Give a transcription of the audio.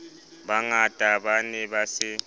bangata ba ne ba se